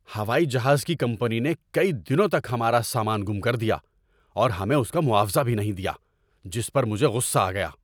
ہوائی جہاز کی کمپنی نے کئی دنوں تک ہمارا سامان گم کر دیا اور ہمیں اس کا معاوضہ بھی نہیں دیا، جس پر مجھے غصہ آ گیا۔